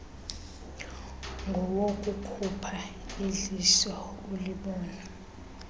ngowokukhupha idliso ulibone